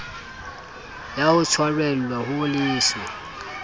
ya ho tshwarelwa ho leswe